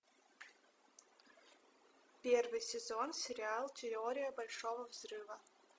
первый сезон сериал теория большого взрыва